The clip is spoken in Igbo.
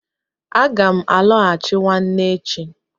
Aga m alọghachi nwanne echi.